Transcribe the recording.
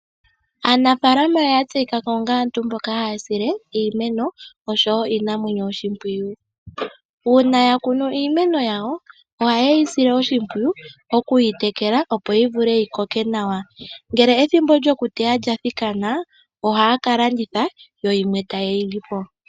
Aanafaalama oyatseyikako onga aantu mbo haasile iimeno oshowo iinamwenyo oshimpwiyu. Uuna yakunu iimeno yawo ohayeyisile oshimpwiyu okuyitekela opo yivule yikoke nawa. Ngele ethimbo lyokuteya lyathikanaa ohaakalanditha yoyimwe tayeyilipo.